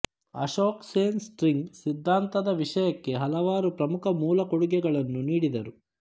Ashok Sen string ಸಿದ್ಧಾಂತದ ವಿಷಯಕ್ಕೆ ಹಲವಾರು ಪ್ರಮುಖ ಮೂಲ ಕೊಡುಗೆಗಳನ್ನು ನೀಡಿದರು